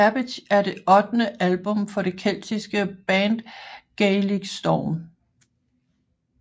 Cabbage er det ottende album fra det keltiske band Gaelic Storm